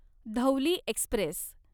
Dhauli Express